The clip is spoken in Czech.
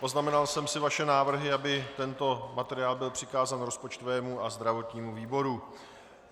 Poznamenal jsem si vaše návrhy, aby tento materiál byl přikázán rozpočtovému a zdravotnímu výboru.